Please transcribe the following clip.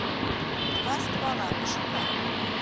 два ствола пошукай